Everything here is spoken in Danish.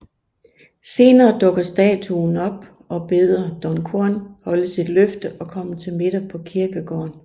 Senere dukker statuen op og beder Don Juan holde sit løfte og komme til middag på kirkegården